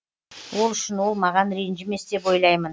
ол үшін ол маған ренжімес деп ойлаймын